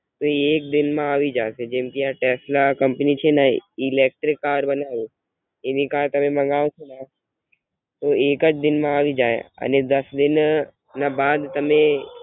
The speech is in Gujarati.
એ એક દિન માં એવી જાય છે જેમ કે આ ટેસ્લા કૅમ્પની છે ને ઇલેક્ટ્રિક કાર બનાવે છે એની કાર તમે મંગાવશોને તો એકજ દિન માં એવી જાય અને દાસ દિન બાદ તમે.